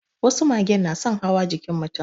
Wasu magen na son hawa jikin mutum